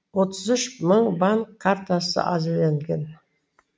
отыз үш мың банк картасы әзірленген